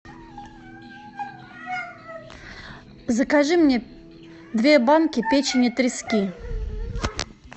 закажи мне две банки печени трески